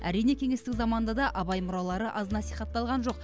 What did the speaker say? әрине кеңестік заманда да абай мұралары аз насихатталған жоқ